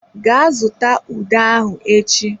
Gaa zụta ude ahụ echi!